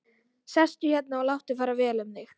Sestu hérna og láttu fara vel um þig!